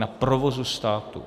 Na provozu státu.